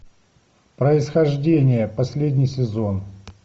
происхождение последний сезон